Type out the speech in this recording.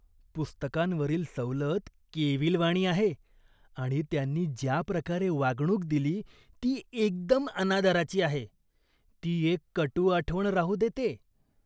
पुस्तकांवरील सवलत केविलवाणी आहे आणि त्यांनी ज्या प्रकारे वागणूक दिली ती एकदम अनादराची आहे. ती एक कटू आठवण राहू देते.